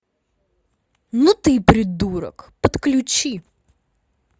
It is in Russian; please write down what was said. ну ты и придурок подключи